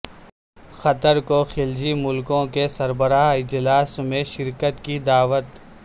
قطر کو خلیجی ملکوں کے سربراہ اجلاس میں شرکت کی دعوت